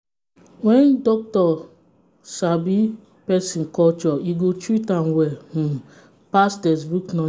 when doctor sabi person culture e go treat well um pass textbook knowl